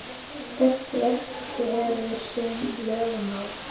Hvert verk hefur sín lögmál.